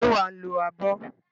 Ṣé wà á lo abọ́?